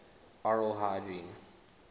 oral hygiene